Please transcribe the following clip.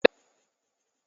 Bẹ́ẹ̀ni, atukọ̀ yóò tu ọkọ̀ náà.